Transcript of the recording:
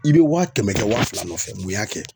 I bɛ waa kɛmɛ kɛ waa fila nɔfɛ mun y'a kɛ.